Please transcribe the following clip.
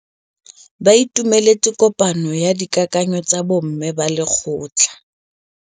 Ba itumeletse kôpanyo ya dikakanyô tsa bo mme ba lekgotla.